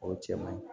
O cɛ man ɲi